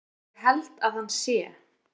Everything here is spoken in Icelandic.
Ég held að hann sé.